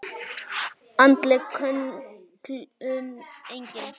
Andleg kölkun: engin.